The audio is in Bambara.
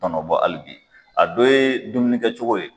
Tɔnɔbɔ hali bi a dɔ ye dumuni kɛcogo ye.